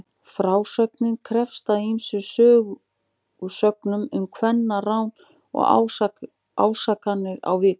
Frásögnin hefst á ýmsum sögusögnum um kvennarán og ásakanir á víxl.